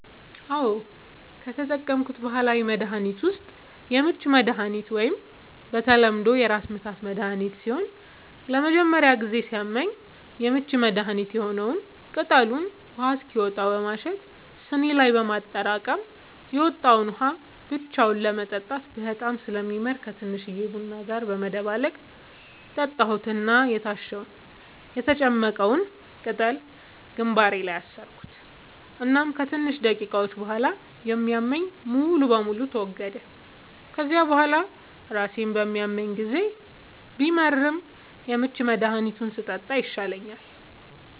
አዎ, ከተጠቀምኩት ባህላዊ መድሀኒት ዉስጥ የምች መድሃኒት ወይም በተለምዶ የራስምታት መድሀኒት ሲሆን ለመጀመሪያ ጊዜ ሲያመኝ የምች መድሀኒት የሆነዉን ቅጠሉን ውሃ እስኪወጣው በማሸት ስኒ ላይ በማጠራቀም የወጣዉን ውሃ ብቻውን ለመጠጣት በጣም ስለሚመር ከቲንሽዬ ቡና ጋር በመደባለቅ ጠጣሁት እና የታሸዉን (የተጨመቀዉን ፈ)ቅጠል ግንባሬ ላይ አሰርኩት እናም ከትንሽ ደቂቃዎች ቡሃላ የሚያመኝ ሙሉ በሙሉ ተወገደ፤ ከዚያ ቡሃላ ራሴን በሚያመኝ ጊዜ ቢመርም የምች መድሃኒቱን ስጠጣ ይሻለኛል።